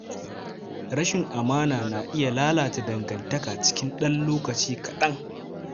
Rashin amana na iya lalata dangantaka cikin ɗan lokaci kaɗan.